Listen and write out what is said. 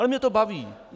Ale mě to baví.